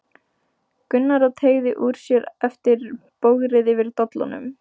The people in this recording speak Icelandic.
Gunnar og teygði úr sér eftir bogrið yfir dollunum.